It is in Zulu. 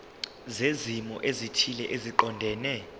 zezimo ezithile eziqondene